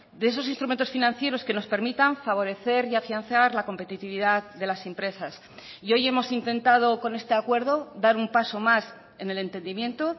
de esos instrumentos financieros que nos permitan favorecer y afianzar la competitividad de las empresas y hoy hemos intentado con este acuerdo dar un paso más en el entendimiento